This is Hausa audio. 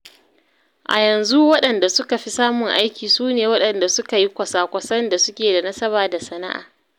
A yanzu waɗanda suka fi samun aiki su ne waɗanda suka yi kwasa-kwasan da suke da nasaba da sana’a.